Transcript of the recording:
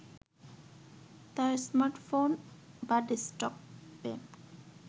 তার স্মার্টফোন বা ডেস্কটপে